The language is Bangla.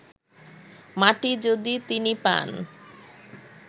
মাটি যদি তিনি পান